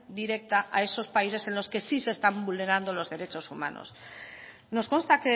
indirecta a esos países en los que sí se están vulnerando los derechos humanos nos consta